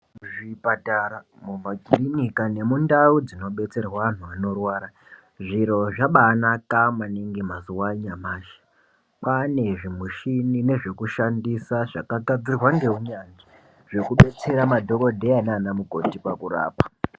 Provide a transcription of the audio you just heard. Zvipatara mu makirinika ne mundau dzino betserwe anhu anorwara zviro zvabainaka maningi mazuva anyamashi kwane zvi mushini nezve kushandisa zvaka gadzirwa ne unyanzvi zveku detsera madhokodheya nana mukoti pakurapa.